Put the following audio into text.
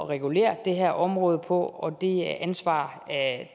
regulere det her område på og det ansvar